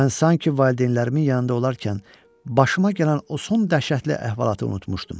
Mən sanki valideynlərimin yanında olarkən başıma gələn o son dəhşətli əhvalatı unutmuşdum.